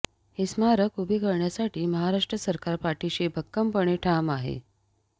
हे स्मारक उभे करण्यासाठी महाराष्ट्र सरकार पाठीशी भक्कमपणे ठाम आहे